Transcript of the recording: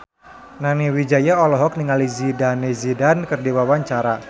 Nani Wijaya olohok ningali Zidane Zidane keur diwawancara